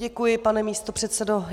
Děkuji, pane místopředsedo.